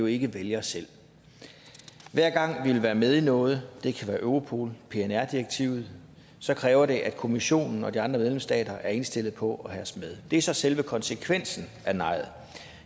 ikke vælger selv hver gang vi vil være med i noget det kan være europol pnr direktivet kræver det at kommissionen og de andre medlemsstater er indstillet på at have os med det er så selve konsekvensen af nejet